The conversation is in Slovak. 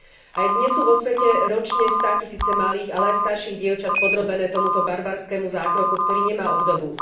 Aj dnes sú vo svete ročne státisíce malých, ale aj starších dievčat podrobené tomuto barbarskému zákroku, ktorý nemá obdobu.